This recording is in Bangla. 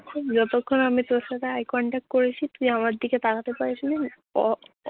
যতক্ষণ আমি তোর সাথে eye contact করেছি তুই আমার দিকে তাকাতে পারছিলি উহ